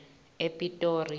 epitori